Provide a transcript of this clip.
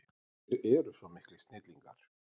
Þeir eru svo miklir snillingar.